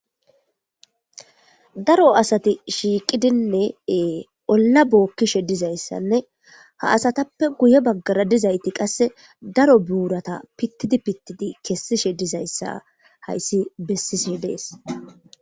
Daro asati shiiqidinneee olla bookkishe dizayssanne ha asatappe guye baggara dizayti qasse daro buurata pittidi pittidi kessishe dizayssa hayssi bessise dees.